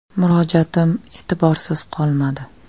Murojaatim e’tiborsiz qolmadi.